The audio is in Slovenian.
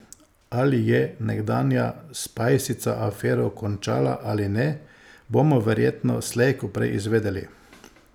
Ali je nekdanja spajsica afero končala ali ne, bomo verjetno slej ko prej izvedeli.